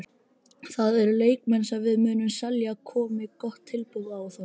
Það eru leikmenn sem við munum selja komi gott tilboð í þá.